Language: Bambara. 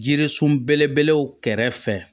Jirisun belebelew kɛrɛfɛ